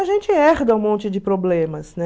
A gente herda um monte de problemas, né?